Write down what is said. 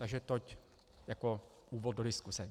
Takže toť jako úvod do diskuse.